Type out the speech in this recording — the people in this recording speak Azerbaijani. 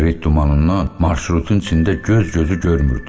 Siqaret dumanından marşrutun içində göz-gözü görmürdü.